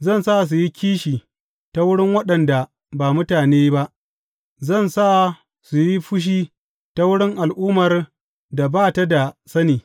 Zan sa su yi kishi ta wurin waɗanda ba mutane ba; zan sa su yi fushi ta wurin al’ummar da ba ta da sani.